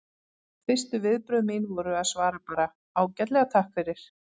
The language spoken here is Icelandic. Fyrstu viðbrögð mín voru að svara bara: Ágætlega, takk fyrir